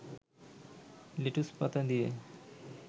লেটুসপাতা দিয়ে